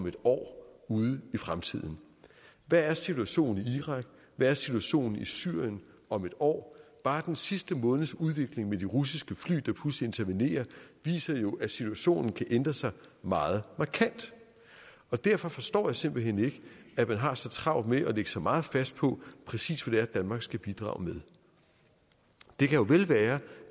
en år ude i fremtiden hvad er situationen i irak hvad er situationen i syrien om en år bare den sidste måneds udvikling med de russiske fly der pludselig intervenerer viser jo at situationen kan ændre sig meget markant derfor forstår jeg simpelt hen ikke at man har så travlt med at lægge sig meget fast på præcis hvad det er danmark skal bidrage med det kan jo vel være